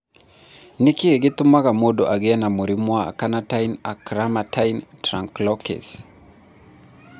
Nĩ kĩĩ gĩtũmaga mũndũ agĩe na mũrimũ wa carnitine acylcarnitine translocase?